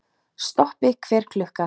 Stoppi hver klukka!